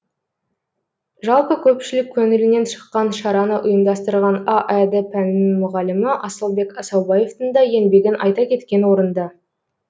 жалпы көпшілік көңілінен шыққан шараны ұйымдастырған аәд пәнінің мұғалімі асылбек асаубаевтың да еңбегін айта кеткен орынды